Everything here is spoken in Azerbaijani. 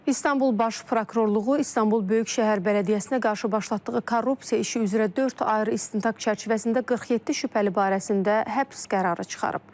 İstanbul Baş Prokurorluğu İstanbul Böyük Şəhər Bələdiyyəsinə qarşı başlatdığı korrupsiya işi üzrə dörd ayrı istintaq çərçivəsində 47 şübhəli barəsində həbs qərarı çıxarıb.